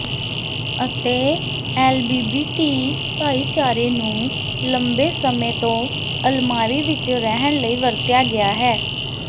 ਅਤੇ ਐਲਬੀਬੀਟੀ ਭਾਈਚਾਰੇ ਨੂੰ ਲੰਬੇ ਸਮੇਂ ਤੋਂ ਅਲਮਾਰੀ ਵਿਚ ਰਹਿਣ ਲਈ ਵਰਤਿਆ ਗਿਆ ਹੈ